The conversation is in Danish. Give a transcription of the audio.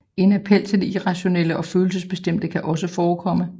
En appel til det irrationelle og følelsesbestemte kan også forekomme